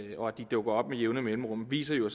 og at de dukker op med jævne mellemrum viser jo